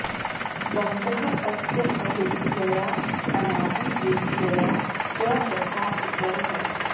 बन्धः अस्य अविद्यया अनादिः विद्यया च तथा इतरः